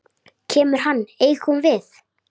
Kemur hann engum við?